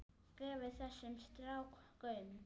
Gefið þessum strák gaum.